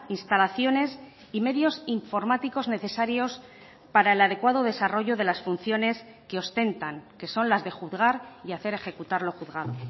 instalaciones y medios informáticos necesarios para el adecuado desarrollo de las funciones que ostentan que son las de juzgar y hacer ejecutar lo juzgado